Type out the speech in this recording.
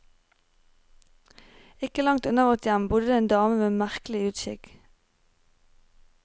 Ikke langt unna vårt hjem bodde det en dame med en merkelig uskikk.